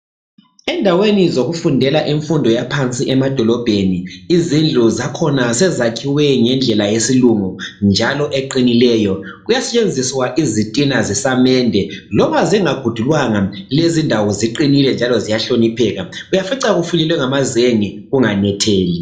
Endaweni zokufundela imfundo yaphansi emadolobheni izindlu zakhona sezakhiwe ngendlela yesilungu njalo eqinileyo. Kuyasetshenziswa izitina zesamende loba zingagudulwanga lezindawo ziqinile njalo ziyahlonipheka. Uyafica kufulelwe ngamazenge kunganetheli.